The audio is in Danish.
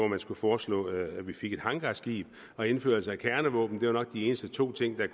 man skulle foreslå at vi fik et hangarskib og indførelse af kernevåben det var nok de eneste to ting der